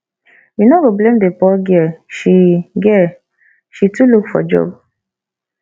you no go blame the poor girl she girl she too look for job